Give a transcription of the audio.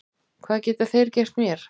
Hvað geta þeir gert mér?